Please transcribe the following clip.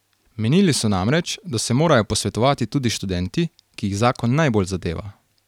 Menili so namreč, da se morajo posvetovati tudi s študenti, ki jih zakon najbolj zadeva.